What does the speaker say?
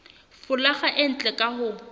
folaga e ntle ka ho